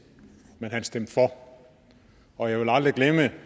men han stemte for og jeg vil aldrig glemme